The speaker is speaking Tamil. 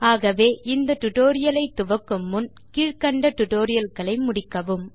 ஆகவே இந்த டியூட்டோரியல் லை துவக்கும் முன் கீழ் கண்ட டியூட்டோரியல் களை முடிக்கவும்